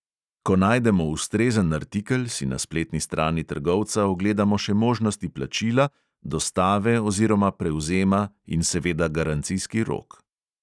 Ko najdemo ustrezen artikel, si na spletni strani trgovca ogledamo še možnosti plačila, dostave oziroma prevzema in seveda garancijski rok.